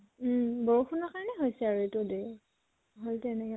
উম বৰষুণৰ কাৰণে হৈছে আৰু এইত্টো দেৰি